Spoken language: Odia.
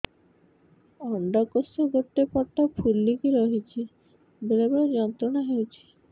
ଅଣ୍ଡକୋଷ ଗୋଟେ ପଟ ଫୁଲିକି ରହଛି ବେଳେ ବେଳେ ଯନ୍ତ୍ରଣା ହେଉଛି